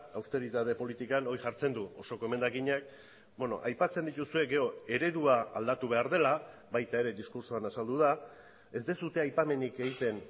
austeritate politikan hori jartzen du osoko emendakinak aipatzen dituzue gero eredua aldatu behar dela baita ere diskurtsoan azaldu da ez duzue aipamenik egiten